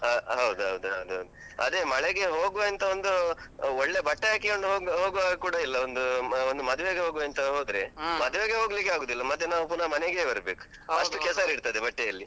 ಹಾ ಹೌದು ಹೌದು ಹೌದು ಅದೇ ಮಳೆಗೆ ಹೋಗ್ವ ಎಂತ ಒಂದು ಒಳ್ಳೆ ಬಟ್ಟೆ ಹಾಕಿಕೊಂಡು ಹೋಗವಾಗ್ ಕೂಡ ಎಲ್ಲ ಒಂದು ಮದ್ವೆಗ್ ಹೋಗುವ ಅಂತ ಅಂದ್ರೆ ಹೋಗ್ಲಿಕ್ಕೆ ಆಗುದಿಲ್ಲ, ಮತ್ತೆ ನಾವ್ ಪುನ ಮನೆಗೆ ಬರ್ಬೇಕ್. ಕೆಸರಿರ್ತದೆ ಬಟ್ಟೆಯಲ್ಲಿ.